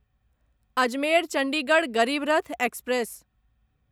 Ajmer Chandigarh Garib Rath express